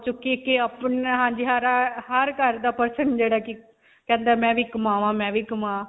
ਚੁੱਕੀ ਕਿ ਅਪਣਾ ਹਰ ਘਰ ਦਾ person ਜਿਹੜਾ ਕਿ ਕਹਿੰਦਾ ਮੈਂ ਵੀ ਕਮਾਨ੍ਵਾਂ, ਮੈਂ ਵੀ ਕਮਾ.